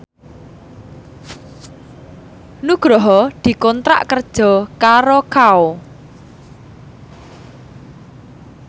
Nugroho dikontrak kerja karo Kao